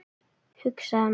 hugsaði maður.